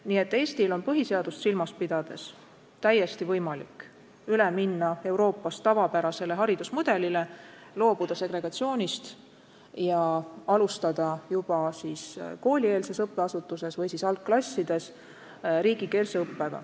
Nii et Eestil on põhiseadust silmas pidades täiesti võimalik üle minna Euroopas tavapärasele haridusmudelile, loobuda segregatsioonist ja alustada juba koolieelses asutuses või siis algklassides riigikeelset õpet.